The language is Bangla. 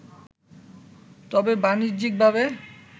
তবে বাণিজ্যিকভাবে